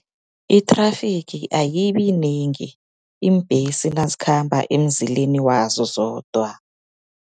I-traffic ayibiyinengi, iimbhesi nazikhamba emzileni wazo zodwa.